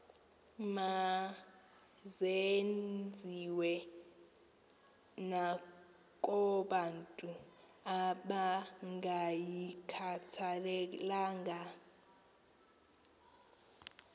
mazenziwe nakobantu abangayikhathalelanga